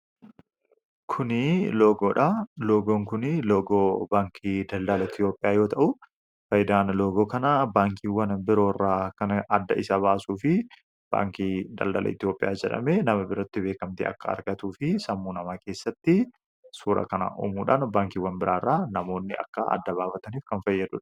loogoon kunii logoo baankii daldala etiyoopiyaa yoo ta'u faaydaan logoo kanaa baankiiwwan birooirraa kadda isa baasuu fi baankii daldala etiyoopiyaa jedhame nama biratti beekamtee akka argatuu fi sammuu namaa keessatti suura kana uumuudhaan baankiiwwan biraairraa namoonni akka adda baabataniif kan fayyadua